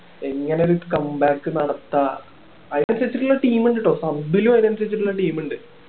ഇങ്ങനേ ഒരു comeback നടത്താം അതിന് അനുസരിച്ചുള്ള team ഇണ്ട് കേട്ടോ sub ലും അതിന് അനുസരിച്ചിട്ടുള്ള team ഇണ്ട്